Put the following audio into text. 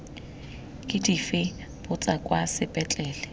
ke dife botsa kwa sepetlele